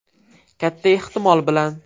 Katta ehtimol bilan.